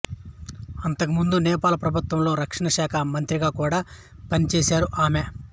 అంతకుముందు నేపాల్ ప్రభుత్వంలో రక్షణ శాఖా మంత్రిగా కూడా పనిచేశారు ఆమె